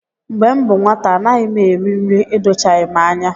Mgbe m bụ nwata, anaghị m eri nri edochaghị m anya